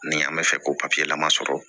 Ni an bɛ fɛ ko papiye la ma sɔrɔ